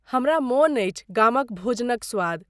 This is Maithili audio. हमरा मोन अछि गामक भोजनक स्वाद।